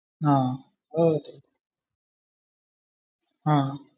ah ah okay